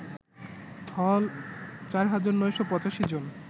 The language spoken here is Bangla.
হল ৪৯৮৫ জন